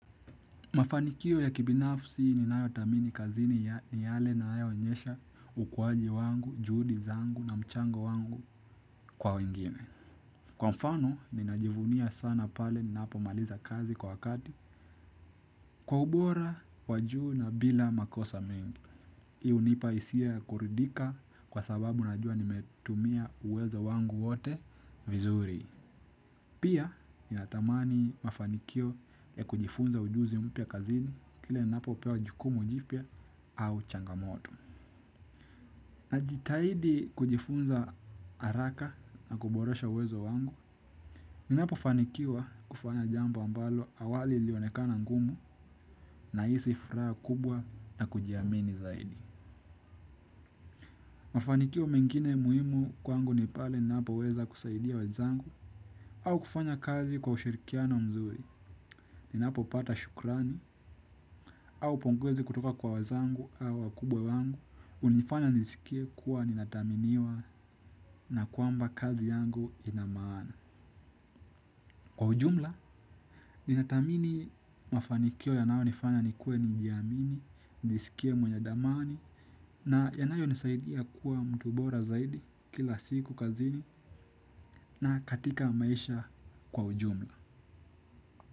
Mafanikio ya kibinafsi ninayo thamini kazini ni yale na nayaonyesha ukuwaji wangu, juhudi zangu na mchango wangu kwa wengine. Kwa mfano, ninajivunia sana pale ninapo maliza kazi kwa wakati kwa ubora wajuu na bila makosa mingi. Hii unipa isia kuridhika kwa sababu najua nimetumia uwezo wangu wote vizuri. Pia ninatamani mafanikio ya kujifunza ujuzi mpya kazini kile ninapo pewa jukumu jipya au changamoto. Najitahidi kujifunza haraka na kuboresha uwezo wangu, ninapofanikiwa kufanya jambo ambalo awali ilionekana ngumu nahisi furaha kubwa na kujiamini zaidi. Mafanikio mengine muhimu kwangu ni pale ninapo weza kusaidia wenzangu au kufanya kazi kwa ushirikiano mzuri, ninapo pata shukrani au pongezi kutoka kwa wenzangu au wakubwa wangu, unifanya nisikie kuwa ninathaminiwa na kwamba kazi yangu inamaana. Kwa ujumla, ninatamini mafanikio yanao nifanya nikue nijiamini, nijisikie mwenye dhamani na yanayo nisaidia kuwa mtu bora zaidi kila siku kazini na katika maisha kwa ujumla.